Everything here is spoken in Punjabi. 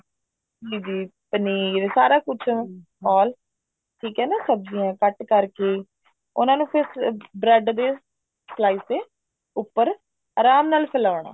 ਪਨੀਰ ਸਾਰਾ ਕੁੱਛ all ਠੀਕ ਆ ਨਾ ਸਬਜੀਆਂ cut ਕਰਕੇ ਉਹਨਾ ਨਾ ਨੂੰ bread ਦੇ slice ਦੇ ਉੱਪਰ ਆਰਾਮ ਨਾਲ ਫੈਲਾਉਣਾ